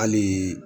Hali